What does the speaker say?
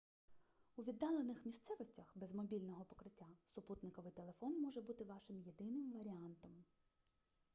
у віддалених місцевостях без мобільного покриття супутниковий телефон може бути вашим єдиним варіантом